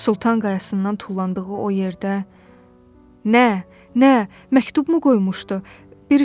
Sultan Qayasından tullandığı o yerdə nə, nə, məktubmu qoymuşdu?